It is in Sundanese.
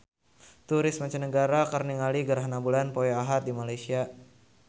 Turis mancanagara keur ningali gerhana bulan poe Ahad di Malaysia